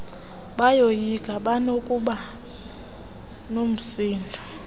bayoyika banokuba nomsindo